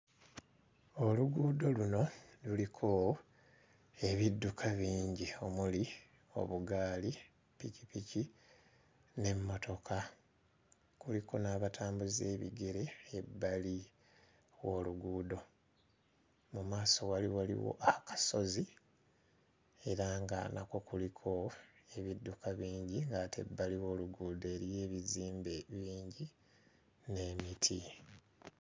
Oluguudo luno luliko ebidduka bingi omuli obugaali, ppikipiki n'emmotoka. Kuliko n'abatambuza ebigere ebbali w'oluguudo. Mu maaso wali waliwo akasozi era nga nakwo kuliko ebidduka bingi ng'ate ebbali w'oluguudo eriyo ebizimbe bingi n'emiti.